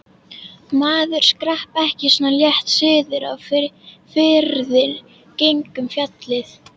Maður skrapp ekki svona létt suður á firði gegnum fjallið.